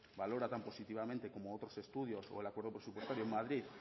valora tan positivamente como otros estudios o el acuerdo presupuestario en madrid